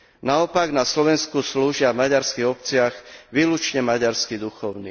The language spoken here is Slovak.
Naopak, na Slovensku slúžia v maďarských obciach výlučne maďarskí kňazi.